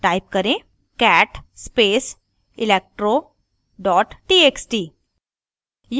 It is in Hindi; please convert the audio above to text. cat space electro txt